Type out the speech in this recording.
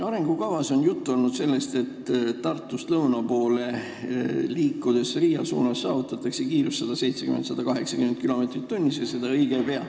Arengukavas on juttu olnud sellest, et Tartust lõuna poole Riia suunas liikudes saavutatakse õige pea kiirus 170–180 km/h.